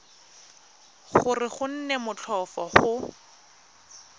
gore go nne motlhofo go